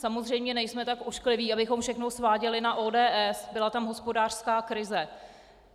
Samozřejmě nejsme tak oškliví, abychom všechno sváděli na ODS, byla tam hospodářská krize.